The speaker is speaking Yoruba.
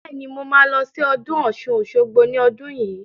Bẹ́ẹ̀ni, mo ma lọ sí ọdún Ọ̀ṣun-Òṣogbo ní ọdún yìí